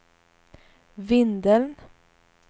Vindeln